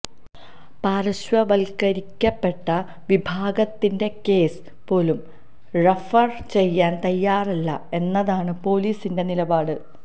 പാര്ശ്വവല്ക്കരിക്കപ്പെട്ട വിഭാഗത്തിന്റെ കേസ് പോലും റഫര് ചെയ്യാന് തയ്യാറല്ല എന്നതാണ് പോലീസിന്റെ നിലപാട്